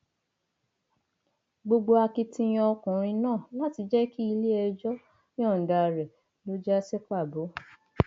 gbogbo akitiyan ọkùnrin náà láti jẹ kí iléẹjọ yọǹda rẹ ló já sí pàbó